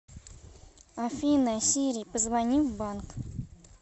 афина сири позвони в банк